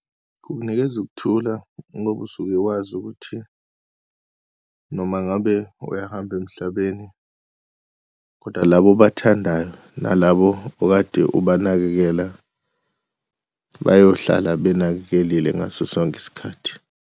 Kunginikeza ukuthula ngoba usuke wazi ukuthi noma ngabe uyahamba emhlabeni, kodwa laba obathandayo nalabo okade ubanakekela, bayohlala benakekelile ngaso sonke isikhathi.